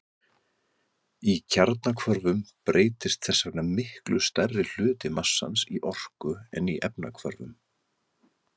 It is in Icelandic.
Í kjarnahvörfum breytist þess vegna miklu stærri hluti massans í orku en í efnahvörfum.